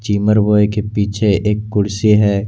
जिमर boy के पीछे एक कुर्सी है।